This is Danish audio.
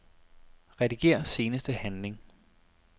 Rediger seneste handling.